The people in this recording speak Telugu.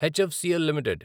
HFCL limited